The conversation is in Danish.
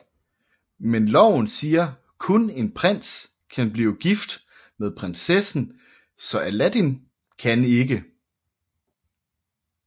Men loven siger at kun en prins kan blive gift med prinsessen så Aladdin kan ikke